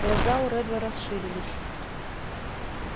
глаза у реддла расширились